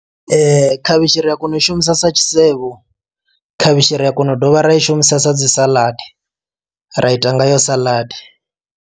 Khavhishi ri a kona u i shumisa sa tshisevho, khavhishi ri a kona u dovha ra i shumisesa dzi saladi ra ita ngayo saḽadi.